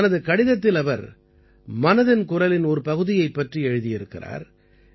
தனது கடிதத்தில் அவர் மனதின் குரலின் ஒரு பகுதியைப் பற்றி எழுதியிருக்கிறார்